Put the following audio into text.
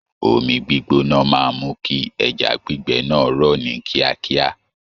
Omi gbígbóná máa mú kí ẹja gbígbẹ náà rọ̀ ní kíákíá.